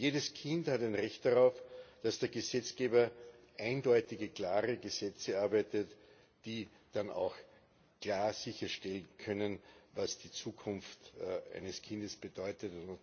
Jedes Kind hat ein Recht darauf, dass der Gesetzgeber eindeutige, klare Gesetze erarbeitet, die dann auch klar sicherstellen können, was die Zukunft eines Kindes bedeutet.